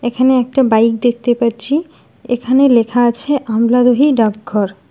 এখানে একটি বাইক দেখতে পাচ্ছি এখানে লেখা আছে আমলাদহি ডাক ঘর।